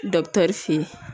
fe yen